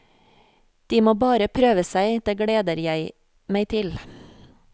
De må bare prøve seg, det gleder jeg meg til.